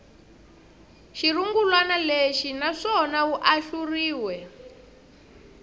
xirungulwana lexi naswona wu ahluriwe